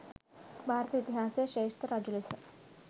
භාරත ඉතිහාසයේ ශ්‍රේෂ්ඨ රජු ලෙස